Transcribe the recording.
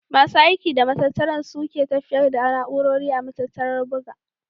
Masu aiki da matattarar sun ke tafiyar da na'urori a matattarar buga.